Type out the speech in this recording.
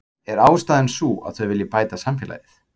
Er ástæðan sú að þau vilji bæta samfélagið?